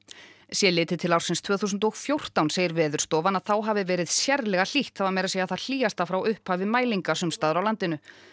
sé litið til ársins tvö þúsund og fjórtán segir Veðurstofan að þá hafi verið sérlega hlýtt það var meira að segja það hlýjasta frá upphafi mælinga sums staðar á landinu